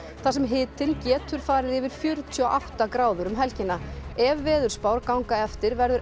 þar sem hitinn getur farið yfir fjörutíu og átta gráður um helgina ef veðurspár ganga eftir verður